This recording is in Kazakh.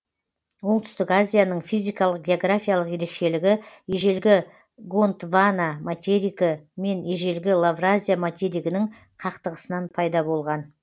оңтүстік азияның физикалық географиялық ерекшелігі ежелгі гондвана материгі мен ежелгі лавразия материгінің қақтығысынан пайда болған